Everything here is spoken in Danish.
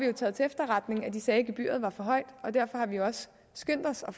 har taget til efterretning at de sagde at gebyret var for højt og derfor har vi også skyndt os at